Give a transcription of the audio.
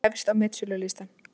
Dalalíf efst á metsölulistann